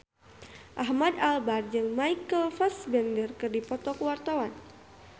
Ahmad Albar jeung Michael Fassbender keur dipoto ku wartawan